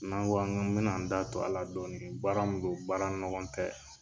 N' an ko an ka n bena n da tu ala dɔni baara min do baara ɲɔgɔn tɛ